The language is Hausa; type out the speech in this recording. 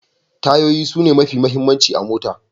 Tayoyi sune mafi muhimmanci a mota.